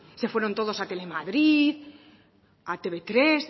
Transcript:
se fueron todos a tele madrid a te uve tres